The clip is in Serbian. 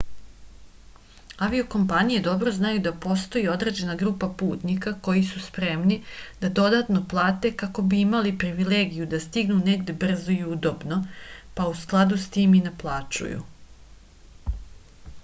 avio-kompanije dobro znaju da postoji određena grupa putnika koji su spremni da dodatno plate kako bi imali privilegiju da stignu negde brzo i udobno pa u skladu s tim i naplaćuju